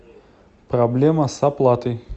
проблема с оплатой